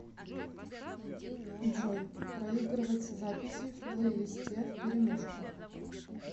джой проигрывать записи в плейлисте вперемешку